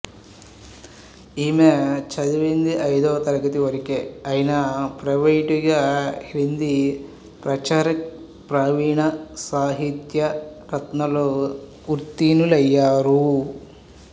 ఈమె చదివింది ఐదవ తరగతి వరకే అయినా ప్రైవేట్ గా హిందీ ప్రచారక్ ప్రవీణ సాహిత్య రత్నలో ఉత్తీర్ణులయ్యారు